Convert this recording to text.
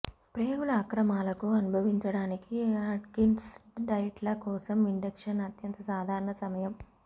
ప్రేగుల అక్రమాలకు అనుభవించడానికి అట్కిన్స్ డైట్ల కోసం ఇండక్షన్ అత్యంత సాధారణ సమయం